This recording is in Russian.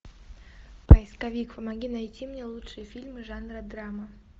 поисковик помоги найти мне лучшие фильмы жанра драма